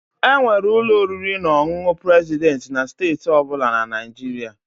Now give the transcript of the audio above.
Enwere ụlọ oriri na ọṅụṅụ President na steeti ọ bụla na Nigeria.